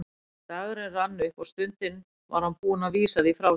Þegar dagurinn rann upp og stundin var hann búinn að vísa því frá sér.